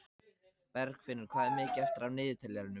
Bergfinnur, hvað er mikið eftir af niðurteljaranum?